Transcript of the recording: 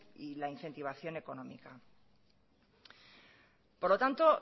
y la incentivación económica por lo tanto